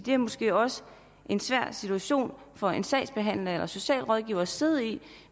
er måske også en svær situation for en sagsbehandler eller en socialrådgiver at sidde i